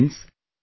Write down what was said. Friends,